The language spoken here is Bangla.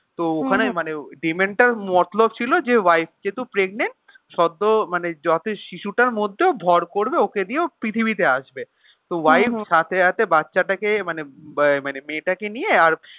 তো ওখানে মানে tenant টার মতলব দিয়েছে যে wife যেহেতু pregnant শত যত শিশুটার মধ্যেও ভড় করবে ওকে নিয়ে ও পৃথিবীতে আসবে. তো wife সাথে আছে বাচ্চাটাকে মানে মেয়েটাকে নিয়ে আর